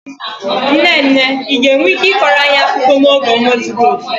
Nne nne, ị ga-enwe ike ịkọrọ anyị akụkọ n'oge ọnwa zuru oke?